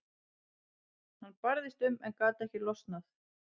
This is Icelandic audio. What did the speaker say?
Hann barðist um en gat ekki losnað.